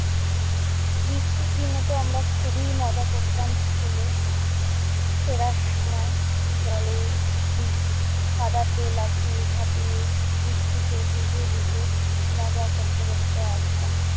বৃষ্টির দিনেতো আমরা খুবই মজা করতাম স্কুলে। ফেরার সময় জলে উম কাদাতে লাফিয়ে-ঝাপিয়ে বৃষ্টিতে ভিজে ভিজে মজা করতে করতে আসতাম।